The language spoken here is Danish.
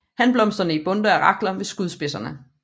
Hanblomsterne i bundter af rakler ved skudspidserne